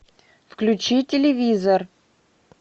включи телевизор